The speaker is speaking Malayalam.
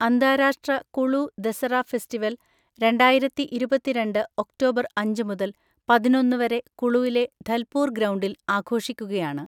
അന്താരാഷ്ട്ര കുളു ദസറ ഫെസ്റ്റിവൽ രണ്ടായിരത്തിഇരുപത്തിരണ്ട് ഒക്ടോബർ അഞ്ച് മുതൽ പതിനൊന്ന് വരെ കുളുവിലെ ധൽപൂർ ഗ്രൗണ്ടിൽ ആഘോഷിക്കുകയാണ്.